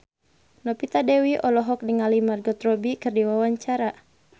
Novita Dewi olohok ningali Margot Robbie keur diwawancara